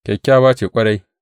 Kyakkyawa ce ƙwarai.